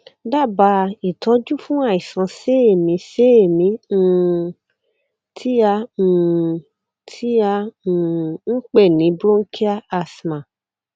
dábàá ìtọjú fún àìsàn séèémíséèémí um tí a um tí a um ń pè ní bronchial asthma